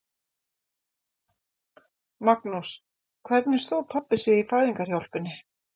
Magnús: Hvernig stóð pabbi sig í fæðingarhjálpinni?